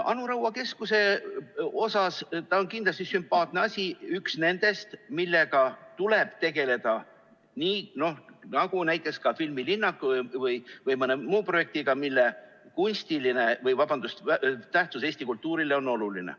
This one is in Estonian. Anu Raua keskus on kindlasti sümpaatne asi, üks nendest, millega tuleb tegeleda, nii nagu näiteks ka filmilinnaku või mõne muu projektiga, mille tähtsus Eesti kultuurile on oluline.